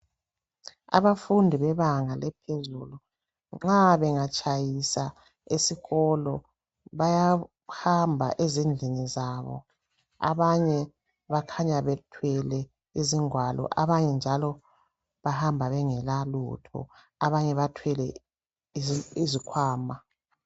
abafundi bebanga laphezulu nxa bengatshyisa esikolo bayahamba ezindlini zabo abanye bakhanya bethwele izingwalo abanye njalo bahamba bengelelalutho abanye bathwele izikhwama